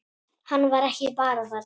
Hann var ekki bara þarna.